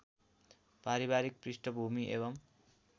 पारिवारिक पृष्ठभुमि एवं